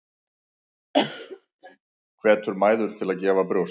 Hvetur mæður til að gefa brjóst